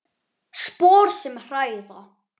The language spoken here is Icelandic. Spor sem hræða.